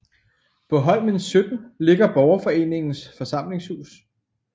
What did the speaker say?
På Holmen 17 ligger Borgerforeningens forsamlingshus